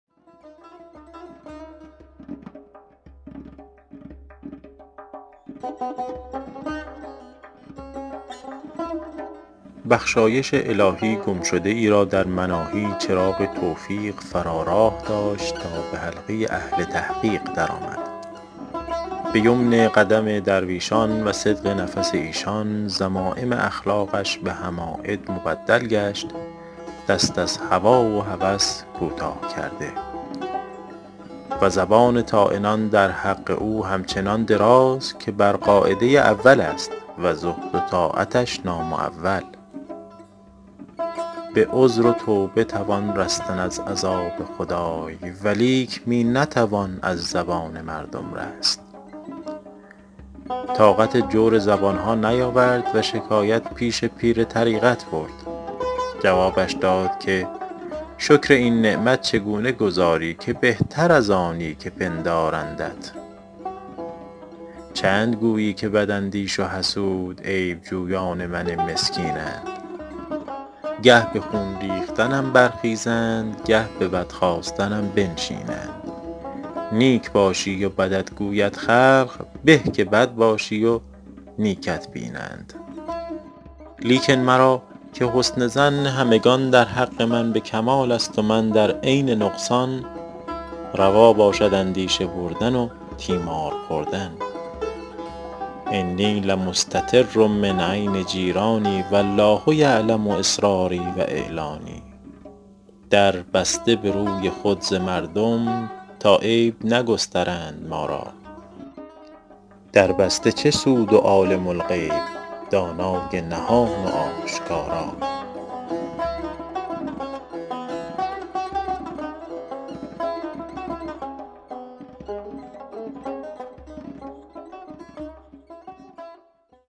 بخشایش الهی گم شده ای را در مناهی چراغ توفیق فرا راه داشت تا به حلقه اهل تحقیق در آمد به یمن قدم درویشان و صدق نفس ایشان ذمایم اخلاقش به حماید مبدل گشت دست از هوا و هوس کوتاه کرده و زبان طاعنان در حق او همچنان دراز که بر قاعده اول است و زهد و طاعتش نامعول به عذر و توبه توان رستن از عذاب خدای ولیک می نتوان از زبان مردم رست طاقت جور زبان ها نیاورد و شکایت پیش پیر طریقت برد جوابش داد که شکر این نعمت چگونه گزاری که بهتر از آنی که پندارندت چند گویی که بد اندیش و حسود عیب جویان من مسکینند گه به خون ریختنم برخیزند گه به بد خواستنم بنشینند نیک باشی و بدت گوید خلق به که بد باشی و نیکت بینند لیکن مرا -که حسن ظن همگنان در حق من به کمال است و من در عین نقصان روا باشد اندیشه بردن و تیمار خوردن انی لمستتر من عین جیرانی و الله یعلم أسراري و أعلاني در بسته به روی خود ز مردم تا عیب نگسترند ما را در بسته چه سود و عالم الغیب دانای نهان و آشکارا